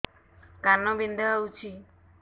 କାନ ବିନ୍ଧା ହଉଛି